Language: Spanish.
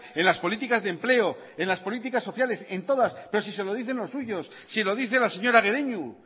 en las políticas de empleo en las políticas sociales en todas pero si se lo dicen los suyos si lo dice la señora guereñu